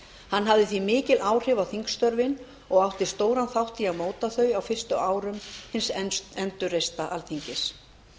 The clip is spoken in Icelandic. hann hafði því mikil áhrif á þingstörfin og átti stóran þátt í að móta þau á fyrstu árum hins endurreista alþingis